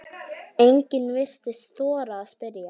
Enginn virtist þora að spyrja